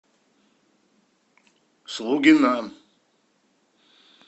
слугина